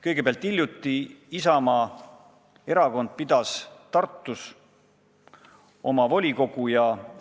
Kõigepealt, hiljuti pidas Isamaa Erakond Tartus oma volikogu koosolekut.